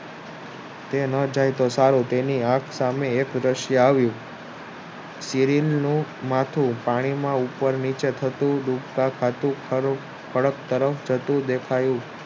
તે ન જાય તો સારું તેની આંખ સામે એક રાસ્યું આવ્યું ઉપર નીચે થતું થતું દેખાયું